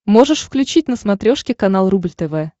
можешь включить на смотрешке канал рубль тв